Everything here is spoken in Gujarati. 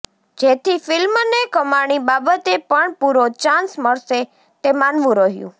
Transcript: જેથી ફિલ્મને કમાણી બાબતે પણ પુરો ચાન્સ મળશે તે માનવું રહ્યું